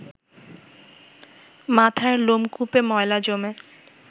মাথার লোমকূপে ময়লা জমে